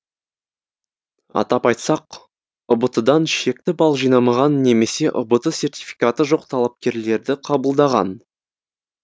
атап айтсақ ұбт дан шекті балл жинамаған немесе ұбт сертификаты жоқ талапкерлерді қабылдаған